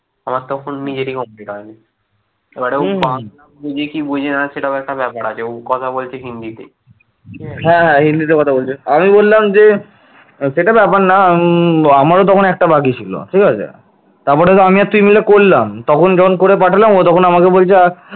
সেটা ব্যাপার না উম আমারও তখন একটা বাকি ছিল ঠিক আছে তারপরে তো আমি আর তুই মিলে করলাম তখন যখন করে পাঠালাম ও তখন আমাকে বলছে